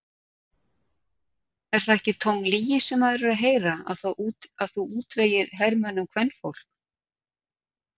Er það ekki tóm lygi sem maður er að heyra að þú útvegir hermönnunum kvenfólk?